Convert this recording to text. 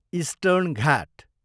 eastern Ghat